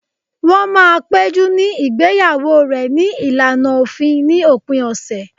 Wọ́n máa péjú ní igbeyawo rẹ̀ ní ìlànà òfin ní òpin ọ̀sẹ̀